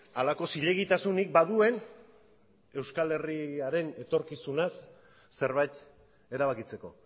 halako zilegitasunik baduen euskal herriaren etorkizunaz zerbait erabakitzeko